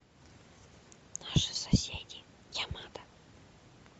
наши соседи ямада